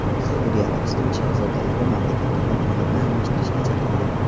Saudiya Arabistoni shahzodalari mamlakatda hokimiyatni almashtirishga chaqirdi.